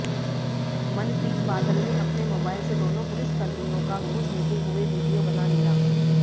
मनप्रीत बादल ने अपने मोबाइल से दोनों पुलिसकर्मियों का घूस लेते हुए वीडियो बना लिया